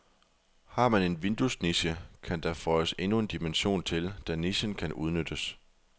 Har man en vinduesniche, kan der føjes endnu en dimension til, da nichen kan udnyttes.